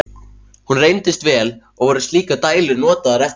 Hún reyndist vel, og voru slíkar dælur notaðar eftir það.